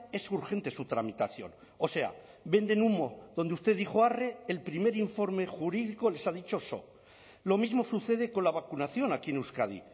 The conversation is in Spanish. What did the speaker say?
es urgente su tramitación o sea venden humo donde usted dijo arre el primer informe jurídico les ha dicho so lo mismo sucede con la vacunación aquí en euskadi